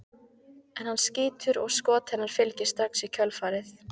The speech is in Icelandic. En hann skýtur og skot hennar fylgir strax í kjölfarið.